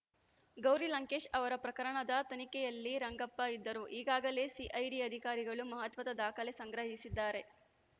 ಗೌರಿ ಲಂಕೇಶ್‌ ಅವರ ಪ್ರಕರಣದ ತನಿಖೆಯಲ್ಲಿ ರಂಗಪ್ಪ ಇದ್ದರು ಈಗಾಗಲೇ ಸಿಐಡಿ ಅಧಿಕಾರಿಗಳು ಮಹತ್ವದ ದಾಖಲೆ ಸಂಗ್ರಹಿಸಿದ್ದಾರೆ